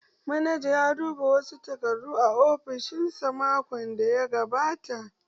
Manaja ya duba wasu takardu a ofishin sa makon daya gabata